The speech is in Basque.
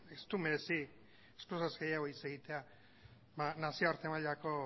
ez du merezi gehiago hitz egitea nazioarte mailako